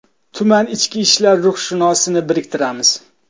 Tuman ichki ishlar ruhshunosini biriktiramiz.